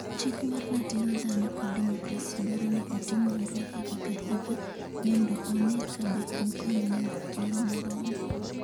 Chik mar Ratiro Dhano kod Demokrasi dwaro ni otim nonro higa ka higa mondo one ka be Hong Kong nigi thuolo moromo.